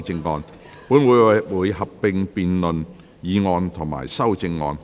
本會會合併辯論議案及修正案。